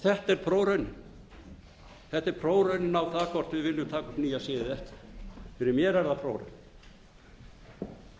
heiðarleika einlægni þetta er prófraunin á það hvort við viljum taka upp nýja siði eða ekki fyrir mér er það prófraun